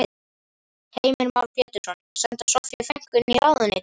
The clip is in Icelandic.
Heimir Már Pétursson: Senda Soffíu frænku inn í ráðuneytin?